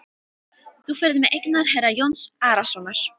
Þú ferð með eignir herra Jóns Arasonar.